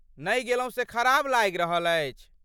नहि गेलहुँ से खराब लागि रहल अछि।